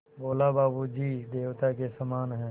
बोला बाबू जी देवता के समान हैं